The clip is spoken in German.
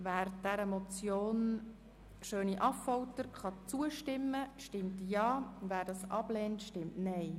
Wer der Motion Schöni-Affolter zustimmen kann, stimmt Ja, wer dies ablehnt, stimmt Nein.